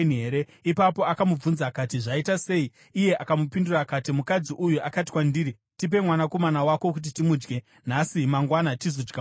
Ipapo akamubvunza akati, “Zvaita sei?” Iye akamupindura akati, “Mukadzi uyu akati kwandiri, ‘Tipe mwanakomana wako kuti timudye nhasi, mangwana tigozodya wangu.’